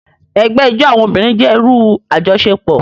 Ẹgbẹ ijó awọn obirin jẹ iru ajọṣepọ.